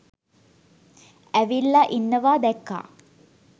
ඇවිල්ලා ඉන්නවා දැක්කා